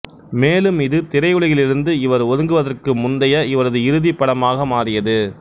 மேலும் இது திரையுலகிலிருந்து இவர் ஒதுங்குவதற்கு முந்தைய இவரது இறுதி படமாக மாறியது